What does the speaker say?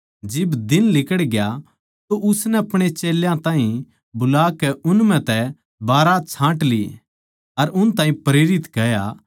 जिब दिन लिकड़या तो उसनै अपणे चेल्यां ताहीं बुलाकै उन म्ह तै बारहां छाँट लिए अर उन ताहीं प्रेरित कह्या